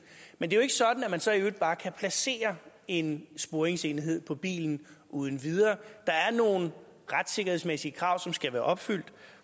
men det er jo ikke sådan at man så i øvrigt bare kan placere en sporingsenhed på bilen uden videre for der er nogle retssikkerhedsmæssige krav som skal være opfyldt